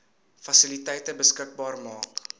fasiliteite beskikbaar maak